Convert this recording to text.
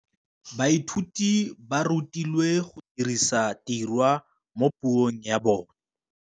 Baithuti ba rutilwe go dirisa tirwa mo puong ya bone.